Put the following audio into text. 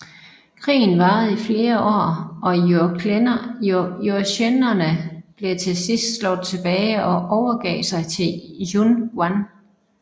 Krigen varede i flere år og jurchenerne blev til sidst slået tilbage og overgav sig til Yun Gwan